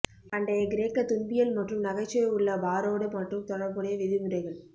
பண்டைய கிரேக்க துன்பியல் மற்றும் நகைச்சுவை உள்ள பாரோடு மற்றும் தொடர்புடைய விதிமுறைகள்